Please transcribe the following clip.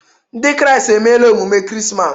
Ndị kraịst emela emume Krismas.